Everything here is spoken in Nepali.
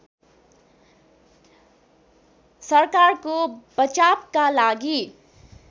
सरकारको बचावका लागि